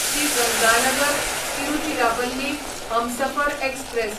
Shri Ganganagar Tiruchirappalli Humsafar express